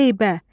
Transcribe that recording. Heybə.